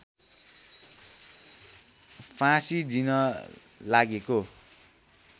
फाँसी दिन लागेको